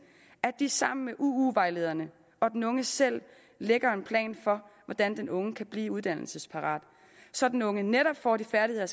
at de sammen med uu vejlederne og den unge selv lægger en plan for hvordan den unge kan blive uddannelsesparat så den unge netop får de færdigheder